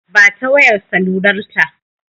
Ba ta wayar salular ta!